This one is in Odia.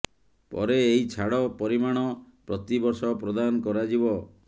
ପରେ ଏହି ଛାଡ ପରିମାଣ ପ୍ରତି ବର୍ଷ ପ୍ରଦାନ କରାଯିବ